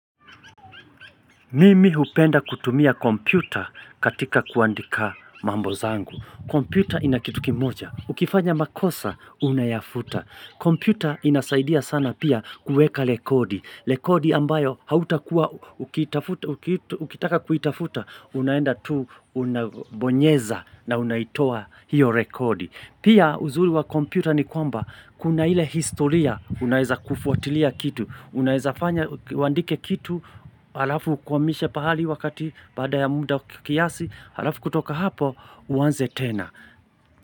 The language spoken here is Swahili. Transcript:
Mimi hupenda kutumia kompyuta katika kuandika mambo zangu. Kompyuta ina kitu kimoja. Ukifanya makosa, unayafuta. Kompyuta inasaidia sana pia kuweka rekodi. Rekodi ambayo hautakuwa, ukitaka kuitafuta, unaenda tu, unabonyeza na unaitoa hiyo rekodi. Pia uzuri wa kompyuta ni kwamba, kuna ile historia, unaeza kufuatilia kitu. Unaezafanya, uandike kitu, alafu ukwamishe pahali wakati baada ya muda kiasi, alafu kutoka hapo, uanze tena.